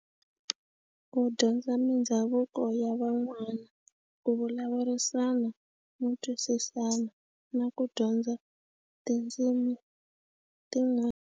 Ku dyondza mindhavuko ya van'wana ku vulavurisana no twisisana na ku dyondza tindzimi tin'wana.